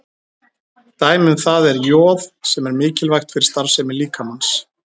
Dæmi um það er joð sem er mikilvægt fyrir starfsemi líkamans.